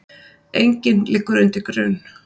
Enginn liggur undir grun